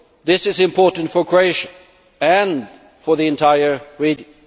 This is important for Croatia and for the entire region.